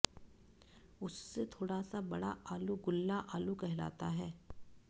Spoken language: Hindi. उससे थोड़ा सा बड़ा आलू गुल्ला आलू कहलाता है